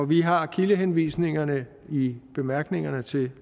vi har kildehenvisningerne i bemærkningerne til